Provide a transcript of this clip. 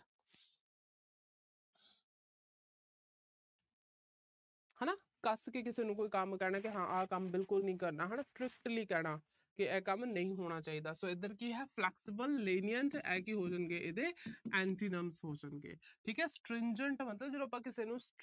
ਕੱਸ ਕੇ ਕਿਸੇ ਨੂੰ ਕੋਈ ਕੰਮ ਕਹਿਣਾ ਵੀ ਆਹ ਕੰਮ ਬਿਲਕੁਲ ਨਹੀਂ ਕਰਨਾ ਹਨਾ। strictly ਕਹਿਣਾ ਵੀ ਇਹ ਕੰਮ ਨਹੀਂ ਹੋਣਾ ਚਾਹੀਦਾ। so ਇਧਰ ਕੀ ਹੈ flexible lenient ਇਹ ਕੀ ਹੋ ਜਾਣਗੇ ਇਹਦੇ antonyms ਹੋ ਜਾਣਗੇ। ਠੀਕ ਆ stringent ਦਾ ਮਤਲਬ ਜਦੋਂ ਆਪਾ ਕਿਸੇ ਨੂੰ